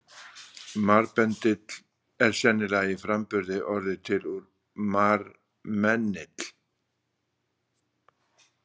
Marbendill er sennilega í framburði orðið til úr marmennill.